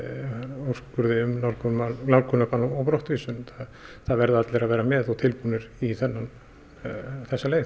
úrskurði um nálgunarbann nálgunarbann og brottvísun það verða allir að vera með og tilbúnir í þessa leið